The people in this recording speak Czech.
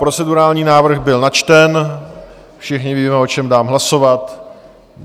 Procedurální návrh byl načten, všichni víme, o čem dát hlasovat.